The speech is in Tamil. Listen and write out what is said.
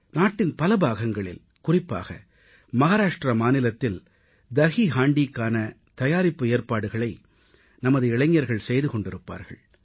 நாட்டின் பல பாகங்களில் குறிப்பாக மகாராஷ்டிர மாநிலத்தில் தஹீஹாண்டீயிக்கான தயாரிப்பு ஏற்பாடுகளை நமது இளைஞர்கள் செய்து கொண்டிருப்பார்கள்